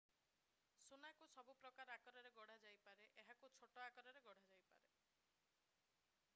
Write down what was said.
ସୁନାକୁ ସବୁ ପ୍ରକାରର ଆକାରରେ ଗଢାଯାଇପାରେ ଏହାକୁ ଛୋଟ ଆକାରରେ ଗଡ଼ାଯାଇପାରେ